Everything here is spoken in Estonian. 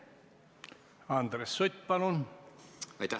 Andres Sutt, palun!